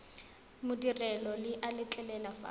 madirelo le a letlelela fa